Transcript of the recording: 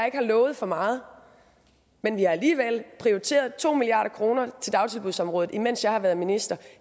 ikke har lovet for meget men vi har alligevel prioriteret to milliard kroner til dagtilbudsområdet mens jeg har været minister